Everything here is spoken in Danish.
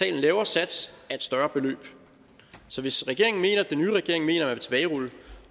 en lavere sats af et større beløb så hvis den nye regering mener at tilbagerulle